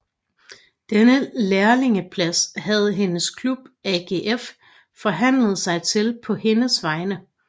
Denne lærlingeplads havde hendes klub AGF forhandlet sig til på hendes vegne